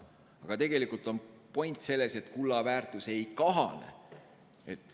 Aga tegelikult on point selles, et kulla väärtus ei kahane.